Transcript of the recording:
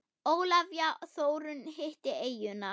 Ólafía Þórunn hitti eyjuna.